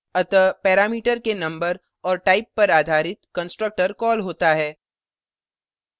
अतः पैरामीटर के number और type पर आधारित constructor कॉल होता है